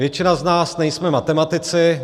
Většina z nás nejsme matematici.